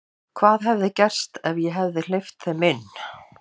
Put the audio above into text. Hvað hefði gerst ef ég hefði hleypt þeim inn?